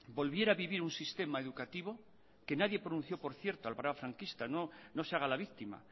volviera a vivir un sistema educativo que nadie pronunció por cierto a la era franquista no se haga la víctima